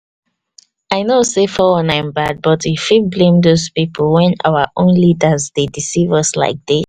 i no sey our one nine bad but e fit bring dos pipo wen our own leaders dey decieve us like this